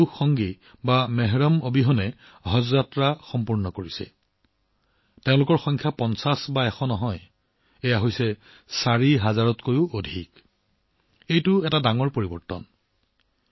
কোনো পুৰুষ সংগী বা মেহৰাম নোহোৱাকৈ হজ কৰা এইসকল মহিলা আৰু সংখ্যা এশ বা পঞ্চাশ নহয় ৪ হাজাৰৰো অধিকএয়া এক ডাঙৰ পৰিৱৰ্তন